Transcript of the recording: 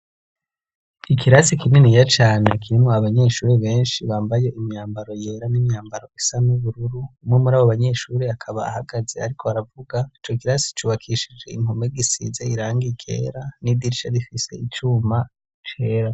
Ikirasi kininiya cane kirimwo abanyeshure benshi bambaye imyambaro yera n'imyambaro isa n'ubururu ,umwe muri abo banyeshure akaba ahagaze ariko aravuga ,ico kirasi cubakishije inpome gisize irangi ryera n'idirsha rifise icuma cera.